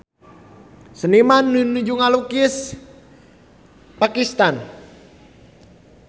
Seniman nuju ngalukis Pakistan